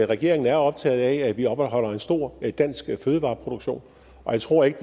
regeringen er optaget af at vi opretholder en stor dansk fødevareproduktion og jeg tror ikke